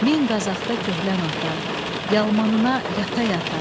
Min Qazaqda köhlən ata, yalmanına yata-yata.